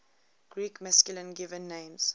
greek masculine given names